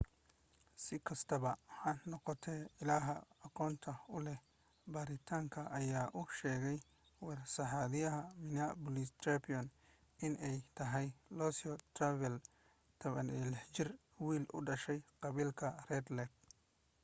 sikastaba ha noqotee illaha aqoonta uleh baaritaanka ayaa u sheegay warsidaha minneapolis _tribune in ay tahay louis traveldan ,16 jir wiil u dhashay qabiilka red lake